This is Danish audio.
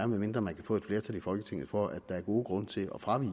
medmindre man kan få et flertal i folketinget for at der er gode grunde til at fravige